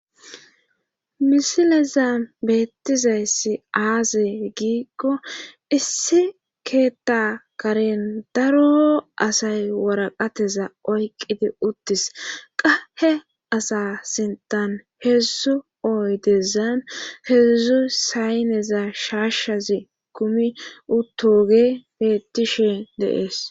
misileza beettizayssi aaze giikko issi keetta karen daro asay woraqateza oyqqidi uttis qahe asa sintan heedzdzu oy dezan heedzdzu sayneza shaashazi kumi uttoge beettishe deees